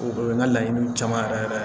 O ye n ka laɲiniw caman yɛrɛ yɛrɛ ye